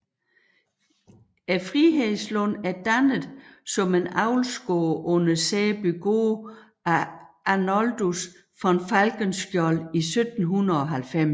Frihedslund er dannet som en avlsgård under Sæbygård af Arnoldus von Falkenskiold i 1790